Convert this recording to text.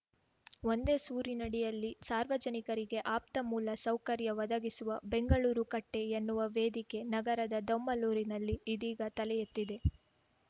ಒಂದೇ ಸೂರಿನಡಿಯಲ್ಲಿ ಸಾರ್ವಜನಿಕರಿಗೆ ಆಪ್ತಮೂಲ ಸೌಕರ್ಯ ಒದಗಿಸುವ ಬೆಂಗಳೂರು ಕಟ್ಟೆ ಎನ್ನುವ ವೇದಿಕೆ ನಗರದ ದೊಮ್ಮಲೂರಿನಲ್ಲಿ ಇದೀಗ ತಲೆಯೆತ್ತಿದೆ